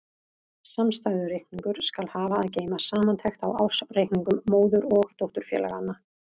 Samstæðureikningur skal hafa að geyma samantekt á ársreikningum móður- og dótturfélaganna.